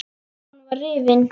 Úlpan var rifin.